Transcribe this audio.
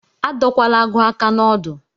Adọkwala agụ aka na-odu!